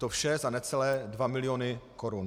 To vše za necelé dva miliony korun.